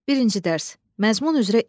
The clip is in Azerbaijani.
Birinci Dərs: Məzmun üzrə İş.